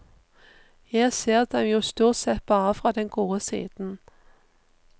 Jeg ser dem jo stort sett fra den gode siden.